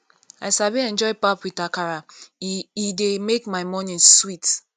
i sabi enjoy pap with akara e e dey make my morning sweet